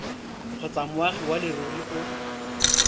kgotsa moagi wa leruri o